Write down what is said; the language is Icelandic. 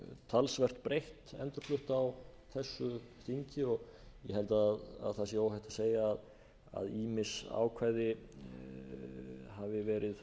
talsvert breytt endurflutt á þessu þingi og ég held að það sé hætt að segja að ýmis ákvæði hafi verið